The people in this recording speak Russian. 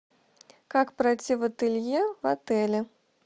как пройти в ателье в отеле